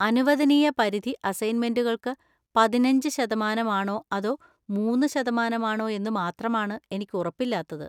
അനുവദനീയപരിധി അസൈന്മെന്‍റുകള്‍ക്ക് പതിനഞ്ച് ശതമാനം ആണോ അതൊ മൂന്നു ശതമാനം ആണോ എന്നുമാത്രമാണ് എനിക്ക് ഉറപ്പില്ലാത്തത്.